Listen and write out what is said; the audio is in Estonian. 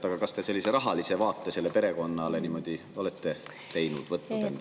Aga kas te sellise rahalise vaate ühele perekonnale olete silme ette võtnud?